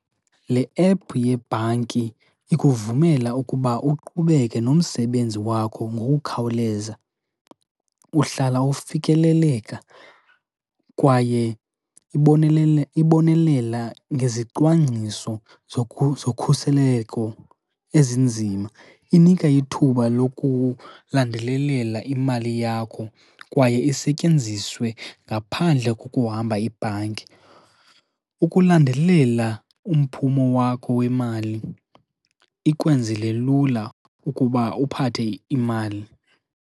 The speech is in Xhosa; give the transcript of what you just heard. Le ephu yebhanki ikuvumela ukuba uqhubeke nomsebenzi wakho ngokukhawuleza. Uhlala ufikeleleka kwaye ibonelela ngezicwangciso zokhuseleko ezinzima. Inika ithuba lokulandelelela imali yakho kwaye isetyenziswe ngaphandle kokuhamba ibhanki. Ukulandelela umphumo wakho wemali ikwenzele lula ukuba uphathe imali.